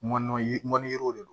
Mɔn yiri mɔn don